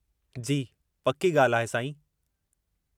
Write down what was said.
जी, पक्की ॻाल्हि आहे, साईं।